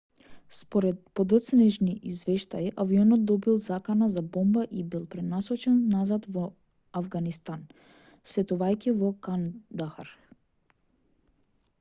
според подоцнежни извештаи авионот добил закана за бомба и бил пренасочен назад во авганистан слетувајќи во кандахар